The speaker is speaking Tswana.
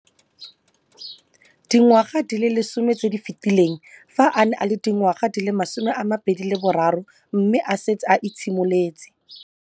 Dingwaga di le 10 tse di fetileng, fa a ne a le dingwaga di le 23 mme a setse a itshimoletse